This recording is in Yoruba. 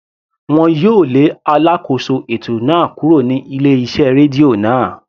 Wọn yóò lé alákóso ètò náà kúrò ní ilé iṣẹ́ rédíò náà.